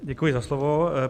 Děkuji za slovo.